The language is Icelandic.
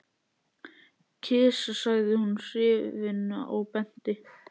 Kisa sagði hún hrifin og benti.